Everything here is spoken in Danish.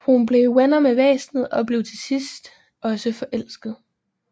Hun bliver venner med væsenet og til sidst også forelsket